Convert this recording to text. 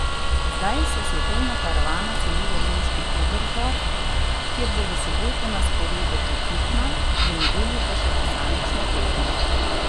Zdaj se svetovna karavana seli v nemški Oberstdorf, kjer bo v soboto na sporedu ekipna, v nedeljo pa še posamična tekma.